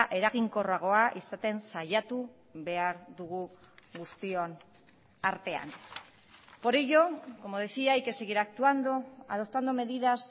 eraginkorragoa izaten saiatu behar dugu guztion artean por ello como decía hay que seguir actuando adoptando medidas